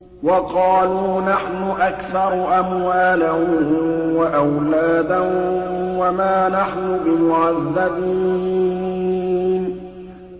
وَقَالُوا نَحْنُ أَكْثَرُ أَمْوَالًا وَأَوْلَادًا وَمَا نَحْنُ بِمُعَذَّبِينَ